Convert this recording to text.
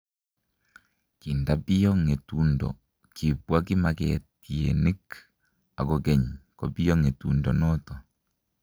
Kindapiyo ngetundo, kibwa kimaketienik akokeny kobiyo ngetundo noto